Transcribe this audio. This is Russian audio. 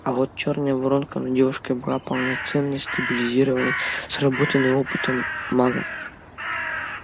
а вот чёрная воронка над девушкой была полноценной стабилизированной сработанной опытом магом